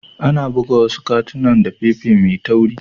Ana buga wasu katunan da fefa Mai tawri.